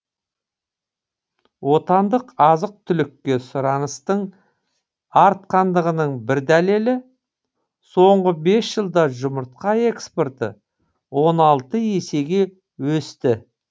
отандық азық түлікке сұраныстың артқандығының бір дәлелі соңғы бес жылда жұмыртқа экспорты он алты есеге өсті